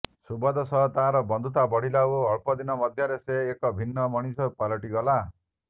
ସୁବୋଧ ସହ ତାର ବନ୍ଧୁତା ବଢ଼ିଲା ଓ ଅଳ୍ପ ଦିନ ମଧ୍ୟରେ ସେ ଏକ ଭିନ୍ନ ମଣିଷ ପାଲଟିଗଲା